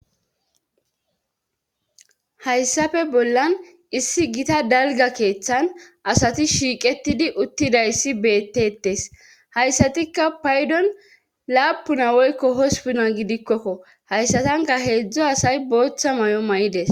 Hayssape bollan issi gita dalga keeththan asati shiiqetidi uttidayssi beettetes hayssatikka paydon laapuna woykko hospuna gidikkokko hayssatanka heedzdzo asay booththa may7o may's